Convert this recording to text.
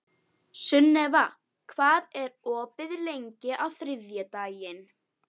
Sunniva, hvað er opið lengi á þriðjudaginn?